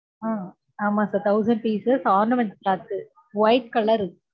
ஆஹ் ஆமா sir thousand pieces ornament cloth white color ரு